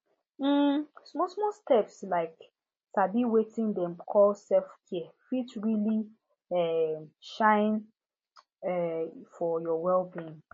um smallsmall steps like sabi wetin dem call selfcare fit really um shine um for your wellbeing